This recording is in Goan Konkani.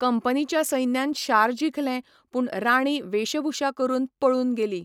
कंपनीच्या सैन्यान शार जिखलें, पूण राणी वेशभूषा करून पळून गेली.